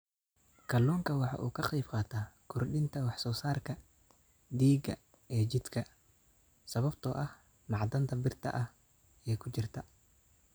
Kalluunku waxa uu ka qaybqaataa kordhinta wax soo saarka dhiigga ee jidhka sababtoo ah macdanta birta ah ee ku jirta.